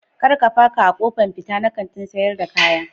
Kar ka paka a kofan fita na Kantin sayar da kaya.